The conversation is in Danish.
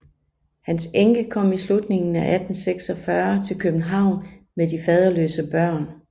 Hans enke kom i slutningen af 1846 til København med de faderløse børn